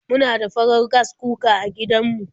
Muna da farar Gas cooker a gidan mu.